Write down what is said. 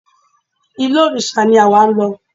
Ilé òrìṣà ni àwa ń lọ.